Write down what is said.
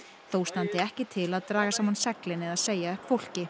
þó standi ekki til að draga saman seglin eða segja upp fólki